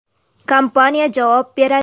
Kompaniya javob beradi.